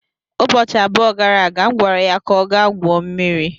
Ụbọchị abụọ gara aga, M gwara ya ka ọ gaa gwuo mmiri.